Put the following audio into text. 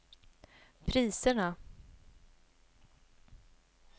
priserna